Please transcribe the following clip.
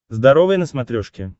здоровое на смотрешке